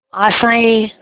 आशाएं